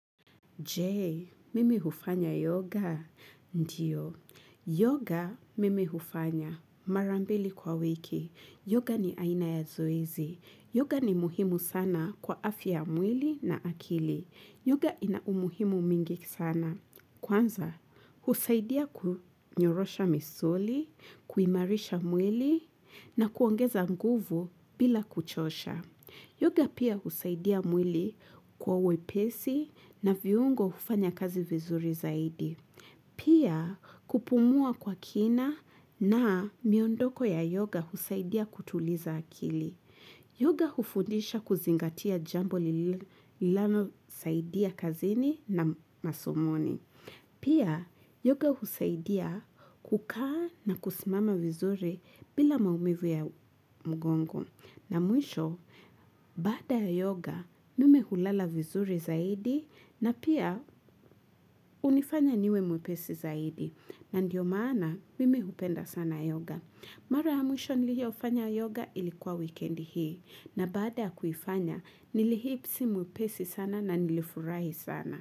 Je, mimi hufanya yoga? Ndiyo. Yoga mimi hufanya. Mara mbili kwa wiki. Yoga ni aina ya zoezi. Yoga ni muhimu sana kwa afia ya mwili na akili. Yoga ina umuhimu mingi sana. Kwanza, husaidia kinyorosha misuli, kuimarisha mwili na kuongeza nguvu bila kuchosha. Yoga pia husaidia mwili kuwa wepesi na viungo ufanya kazi vizuri zaidi. Pia kupumua kwa kina na miondoko ya yoga husaidia kutuliza akili. Yoga hufundisha kuzingatia jambo lilano saidia kazini na masomoni. Pia yoga husaidia kukaa na kusimama vizuri bila maumivu ya mgongo. Na mwisho bada ya yoga mimi hulala vizuri zaidi na pia unifanya niwe mwepesi zaidi. Na ndiyo maana mimi hupenda sana yoga. Mara ya mwisho niliyo ufanya yoga ilikuwa weekend hii na baada kufanya nilihipsi mwepesi sana na nilifurahi sana.